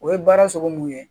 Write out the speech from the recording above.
O ye baara sogo mun ye